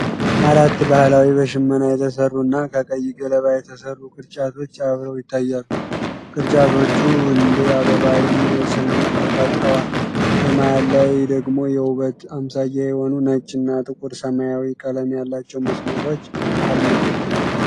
አራት ባህላዊ፣ በሽመና የተሠሩ እና ከቀይ ገለባ የተሠሩ ቅርጫቶች አብረው ይታያሉ። ቅርጫቶቹ እንደ አበባ የሚመስል ንድፍ ፈጥረዋል። በመሀል ላይ ደግሞ የውበት አምሳያ የሆኑ ነጭ እና ጥቁር ሰማያዊ ቀለም ያላቸው መስመሮች አሉ።